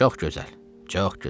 Çox gözəl, çox gözəl!